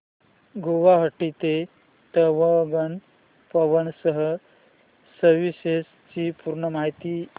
गुवाहाटी ते तवांग पवन हंस सर्विसेस ची पूर्ण माहिती